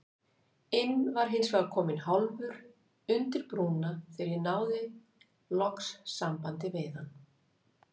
inn var hinsvegar kominn hálfur undir brúna þegar ég náði loks sambandi við hann.